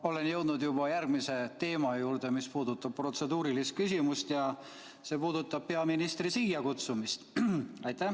Olen jõudnud oma protseduurilise küsimusega juba järgmise teema juurde, see puudutab peaministri siia kutsumist.